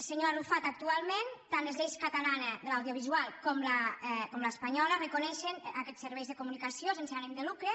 senyor arrufat actualment tant les lleis catalana de l’audiovisual com l’espanyola reconeixen aquests serveis de comunicació sense ànim de lucre